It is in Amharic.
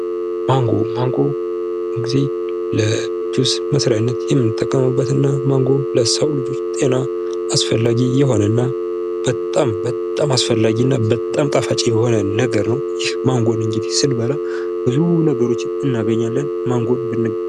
ማንጎ ማንጎ ሁልጊዜ ለጁስ መስሪያነት የምንጠቀምበት እና ለሰዉ ልጆች ጤና አሰፈላጊ የሆነና በጣም በጣም አስፈላጊ የሆነ እና በጣም ጣፋጭ ሆነ ነገር ነው። ማንጎን እንግዲህ ስንበላ ብዙ ነገሮችን እናገኛለን። ማንጎ ብን